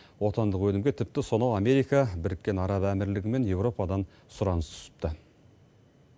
отандық өнімге тіпті сонау америка біріккен араб әмірлігі мен еуропадан сұраныс түсіпті